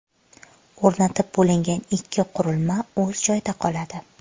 O‘rnatib bo‘lingan ikki qurilma o‘z joyida qoladi.